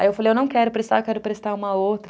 Aí eu falei, eu não quero prestar, eu quero prestar uma outra.